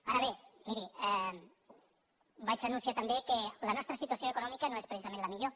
ara bé miri vaig anunciar també que la nostra situació econòmica no és precisament la millor